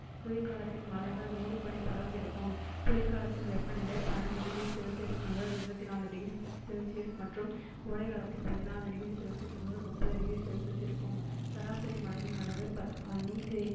குளிர்காலத்தில் மலைகள் மூடுபனி படர்ந்திருக்கும் குளிர்காலத்தில் வெப்பநிலை பன்னிரண்டு degree celcius முதல் இருபத்து நாலு degree celcius மற்றும் கோடைகாலத்தில் பதினாறு degree celcius முதல் முப்பது degree celcius இருக்கும் சராசரி மழையின் அளவு ப~ நூற்றி